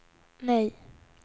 nej